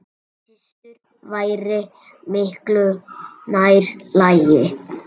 Systur væri miklu nær lagi.